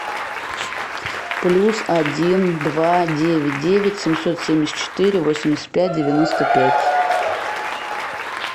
плюс один два девять девять семьсот семьдесят четыре восемьдесят пять девяносто пять